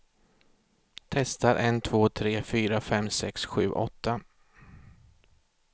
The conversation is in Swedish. Testar en två tre fyra fem sex sju åtta.